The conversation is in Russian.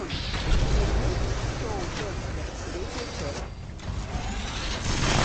у тебя есть шоу декстер третья часть